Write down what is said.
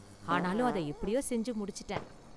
ஆனாலும் அதை எப்படியோ செஞ்சு முடிச்சிட்டேன்.